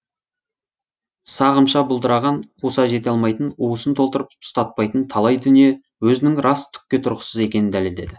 сағымша бұлдыраған қуса жете алмайтын уысын толтырып ұстатпайтын талай дүние өзінің рас түкке тұрғысыз екенін дәлелдеді